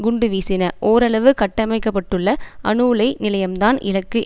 குண்டு வீசின ஓரளவு கட்டமைக்கப்பட்டுள்ள அணு உலை நிலையம்தான் இலக்கு